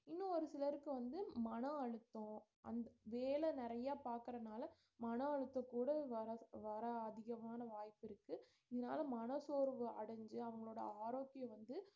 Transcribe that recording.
இன்னும் ஒரு சிலருக்கு வந்து மனஅழுத்தோம் அந்~ வேலை நிறையா பாக்குறனால மன அழுத்தம் கூட வரதுக்கு வர அதிகமான வாய்ப்பு இருக்கு இதனால மன சோர்வு அடைஞ்சு அவங்களோட ஆரோக்கியம் வந்து